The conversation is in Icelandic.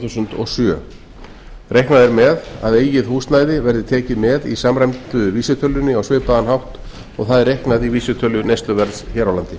þúsund og sjö reiknað er með að eigin húsnæði verði tekið með í samræmdu vísitölunni á svipaðan hátt og það er reiknað í vísitölu neysluverðs hér á landi